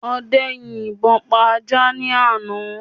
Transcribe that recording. Ọdẹ yin ìbọ pa ajá ní àná